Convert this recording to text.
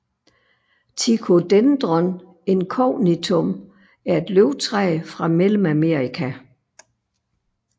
Ticodendron incognitum er et løvtræ fra Mellemamerika